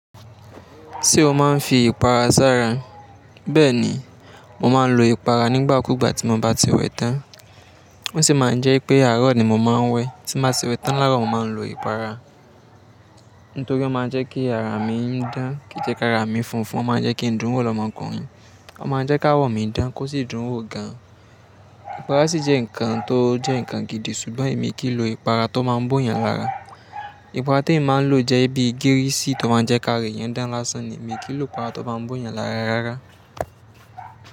Ṣé o máa ń fi ìpara sára? Bẹ́ẹ̀ni, mo máa ń lo ìpara nígbàkúgbà tí mo bá ti wẹ tán. Ó sì máa ń jẹ́ wipé àárọ̀ ni mo máa ń wẹ. Tí n bá ti wẹ tán láarọ̀, mo máa ń lo ìpara. Nítorí ó máa ń jẹ́ kí ara mi dán, kí i jẹ́ kara mi funfun, ó máa ń jẹ́ kí ń dùn ún wò lọ́mọkùnrin. Ó máa ń jẹ́ káwọ́ mi dán kó sì dùn ún wò gan. Ìpara sì jẹ́ nǹkan tó jẹ́ nǹkan gidi ṣùgbọ́n èmi kì í lo ìpara tó máa ń bò yàn lára. Ìpara temi máa ń lò jẹ́ bí i gíríìsì tó máa ń jẹ́ kara èèyàn dán lásán ni. Èmi kì í lopara tó máa ń bòyàn lára rárá.